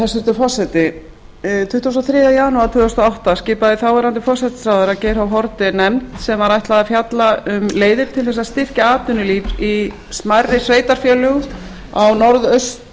hæstvirtur forseti tuttugasta og þriðja janúar tvö þúsund og átta skipaði þáv forsætisráðherra geir h haarde nefnd sem var ætlað að fjalla um leiðir til þess að styrkja atvinnulíf í smærri sveitarfélögum á norðaustur